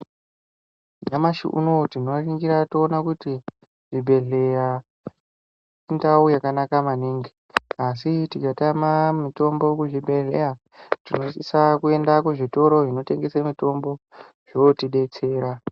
Nyamashi unowu tinoningira toona kuti zvibhedhleya, indau yakanaka maningi, asi tikatama mitombo kuzvibhedhleya, tinosisa kuenda kuzvitoro zvinotengese mitombo, zvootidetsera.